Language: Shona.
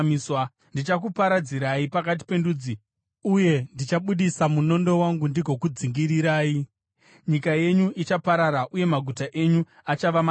Ndichakuparadzirai pakati pendudzi uye ndichabudisa munondo wangu ndigokudzingirirai. Nyika yenyu ichaparara, uye maguta enyu achava matongo.